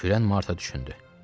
Kürən Marta düşündü.